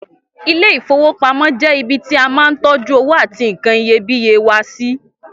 Ilé-ìfowópamó jẹ́ ibi tí a máa ń tọ́jú owó àti nkan iyebíye wa sí.